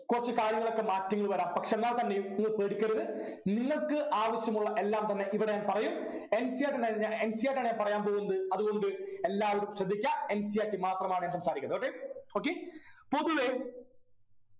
കൊറച്ചു കാര്യങ്ങളൊക്കെ മാറ്റങ്ങൾ വരാം പക്ഷെ എന്നാൽ തന്നെയും നിങ്ങൾ പേടിക്കരുത് നിങ്ങൾക്ക് ആവശ്യമുള്ള എല്ലാം തന്നെ ഇവിടെ ഞാൻ പറയും NCERT തന്നെ NCERT ആണ് ഞാൻ പറയാൻ പോകുന്നത് അതുകൊണ്ട് എല്ലാവരും ശ്രദ്ധിക്കാ NCERT മാത്രമാണ് ഞാൻ പറയുന്നത് okay okay പൊതുവെ